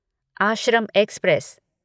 Ashram express